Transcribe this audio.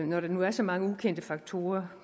når der nu er så mange ukendte faktorer